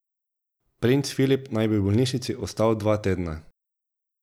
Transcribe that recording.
Princ Filip naj bi v bolnišnici ostal dva tedna.